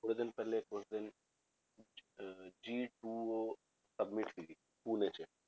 ਥੋੜ੍ਹੇ ਦਿਨ ਪਹਿਲੇ ਕੁਛ ਦਿਨ ਅਹ G two oh summit ਸੀਗੀ ਪੂਨੇ 'ਚ